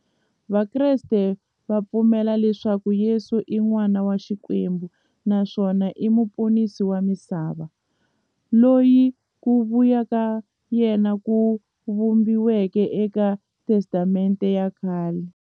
Vakreste va pfumela leswaku Yesu i n'wana wa Xikwembu naswona i muponisi wa misava, loyi ku vuya ka yena ku vhumbiweke e ka Testamente ya khale.